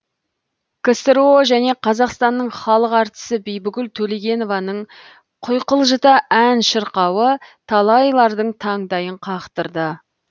ксро және қазақстанның халық әртісі бибігүл төлегенованың құйқылжыта ән шырқауы талайлардың таңдайын қақтырды